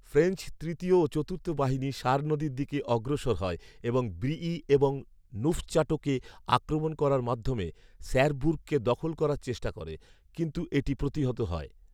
French তৃতীয় ও চতুর্থ বাহিনী সার নদীর দিকে অগ্রসর হয় এবং ব্রিয়ি এবং নুফচাটোকে আক্রমণ করার মাধ্যমে স্যারবুর্গকে দখল করার চেষ্টা করে, কিন্তু এটি প্রতিহত হয়